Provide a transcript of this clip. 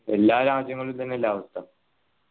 എല്ലാ രാജ്യങ്ങളിലു ഇത് തന്നെ അല്ലെ അവസ്ഥ